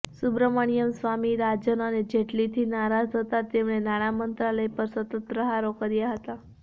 સુબ્રમણ્યમ સ્વામી રાજન અને જેટલીથી નારાજ હતા તેમણે નાણામંત્રાલય પર સતત પ્રહારો કર્યા હતા